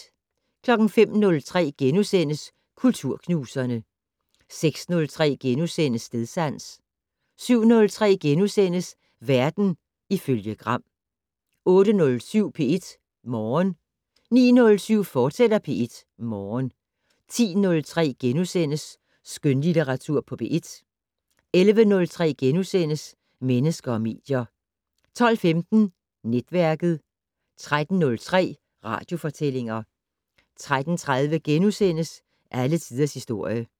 05:03: Kulturknuserne * 06:03: Stedsans * 07:03: Verden ifølge Gram * 08:07: P1 Morgen 09:07: P1 Morgen, fortsat 10:03: Skønlitteratur på P1 * 11:03: Mennesker og medier * 12:15: Netværket 13:03: Radiofortællinger 13:30: Alle tiders historie *